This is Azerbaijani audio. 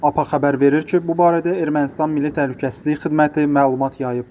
Apa xəbər verir ki, bu barədə Ermənistan Milli Təhlükəsizlik Xidməti məlumat yayıb.